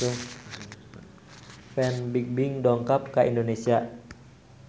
Fan Bingbing dongkap ka Indonesia